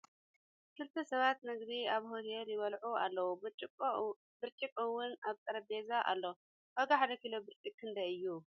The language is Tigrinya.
ክልተ ሰባት ምግቢ ኣብ ሆቴል ይበልዑ ኣለዉ ። ብርጭቅ እውን ኣብ ጠረጴዝ ኣሎ ። ዋጋ ሓደ ኪሎ ብርጪቅ ክንደይ እዩ ?